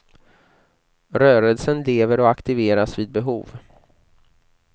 Rörelsen lever och aktiveras vid behov.